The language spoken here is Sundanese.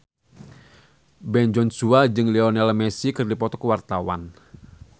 Ben Joshua jeung Lionel Messi keur dipoto ku wartawan